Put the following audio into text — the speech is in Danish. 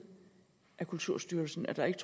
af kulturstyrelsen at der ikke